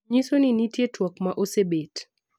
nyiso ni nitie twak ma osebedo